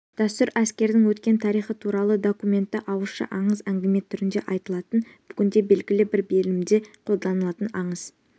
дәстүр әскердің өткен тарихы туралы документті ауызша аңыз-әңгіме түрінде айтылатын бүгінде белгілі бір белімде қолданылатын аңыз